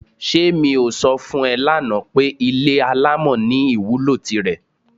S̩e mi ò so̩ fún e̩ lánàá pé ilé alámò̩ ní ìwúlò tirè̩?